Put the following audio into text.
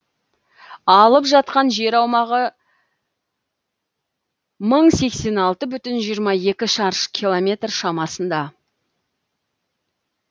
алып жатқан жер аумағы мың сексен алты бүтін жиырма екі шаршы километр шамасында